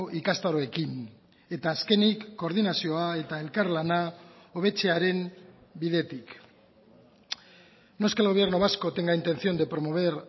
ikastaroekin eta azkenik koordinazioa eta elkarlana hobetzearen bidetik no es que el gobierno vasco tenga intención de promover